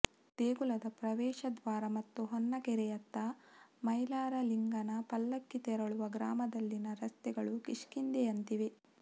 ದೇಗುಲದ ಪ್ರವೇಶ ದ್ವಾರ ಮತ್ತು ಹೊನ್ನಕೆರೆಯತ್ತ ಮೈಲಾರಲಿಂಗನ ಪಲ್ಲಕ್ಕಿ ತೆರಳುವ ಗ್ರಾಮದಲ್ಲಿನ ರಸ್ತೆಗಳು ಕಿಷ್ಕಂಧೆಯಂತಿವೆ